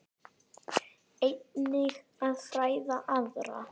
Einnig að fræða aðra.